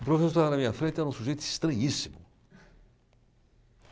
O professor lá na minha frente era um sujeito estranhíssimo.